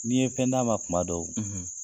N'i ye fɛn d'a ma kuma dɔw